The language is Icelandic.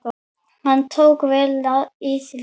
Hann tók vel í það.